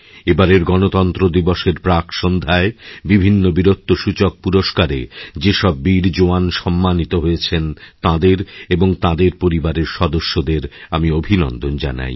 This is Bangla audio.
এবারের গণতন্ত্র দিবসের প্রাক্সন্ধ্যায় বিভিন্ন বীরত্বসূচকপুরস্কারে যেসব বীর জওয়ান সম্মানিত হয়েছেন তাঁদের এবং তাঁদের পরিবারের সদস্যদেরআমি অভিনন্দন জানাই